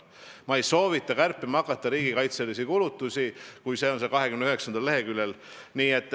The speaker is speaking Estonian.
Ma ei soovita kärpima hakata riigikaitselisi kulutusi, kui see on see, mis on 29. leheküljel.